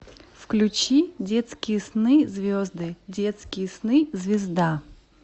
включи детские сны звезды детские сны звезда